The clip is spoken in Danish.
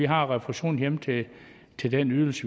har refusionen hjemme til til den ydelse